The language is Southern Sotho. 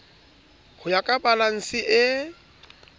ho ya ka balanse e